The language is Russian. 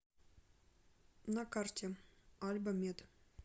на карте альба мед